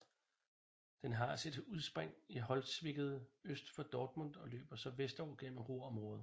Den har sit udspring i Holzwickede øst for byen Dortmund og løber så vestover gennem Ruhrområdet